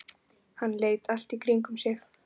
Hann leit allt í kringum sig.